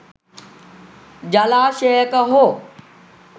ජලාශයක හෝ